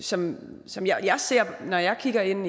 som som jeg ser når jeg kigger ind